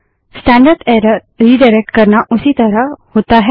standard error redirect करना उसी तरह होता है